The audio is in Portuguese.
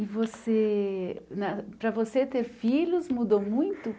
E você... na para você ter filhos mudou muito?